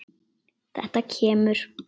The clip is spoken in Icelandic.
Þetta kemur.